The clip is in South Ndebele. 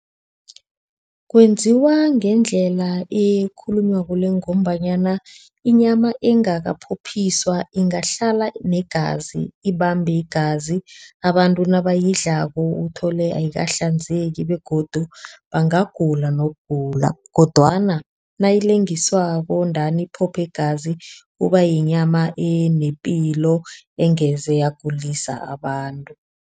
Kwenziwa ngendlela elikhulunywako le ngombanyana inyama engakaphophiswa ingahlala negazi, ibambe igazi. Abantu nabayidlako uthole ayikahlanzeki begodu bangagula nokugula kodwana nayilengiswako ndani iphophe ingazi iba yinyama enepilo engeze yagulisa abantu.